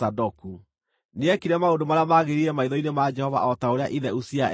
Nĩekire maũndũ marĩa maagĩrĩire maitho-inĩ ma Jehova o ta ũrĩa ithe Uzia eekĩte.